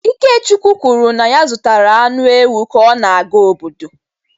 IkeChukwu kwuru na ya zụtara anụ ewu ka ọ na-aga obodo.